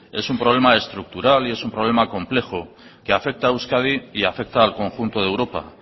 es un problema estructural y es un problema complejo que afecta a euskadi y afecta al conjunto de europa